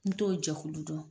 N t'o jɛkulu dɔn.